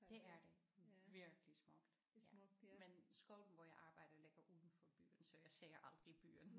Det er det virkelig smukt ja men skolen hvor jeg arbejder ligger uden for byen så jeg ser aldrig byen